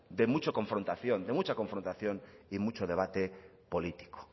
de mucha confrontación y mucho debate político